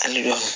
A ni